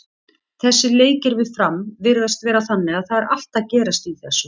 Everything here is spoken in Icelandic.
Þessir leikir við Fram virðast vera þannig að það er allt að gerast í þessu.